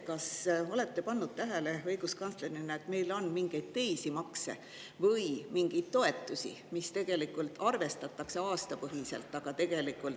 Kas olete õiguskantslerina tähele pannud, et meil on mingeid teisi makse või mingeid toetusi, mida tegelikult arvestatakse aastapõhiselt, aga tegelikult …